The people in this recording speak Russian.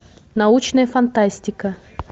научная фантастика